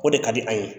O de ka di an ye